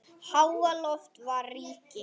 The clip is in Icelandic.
Háaloft var ríki